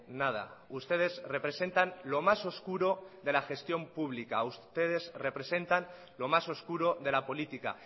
nada ustedes representan lo más oscuro de la gestión pública ustedes representan lo más oscuro de la política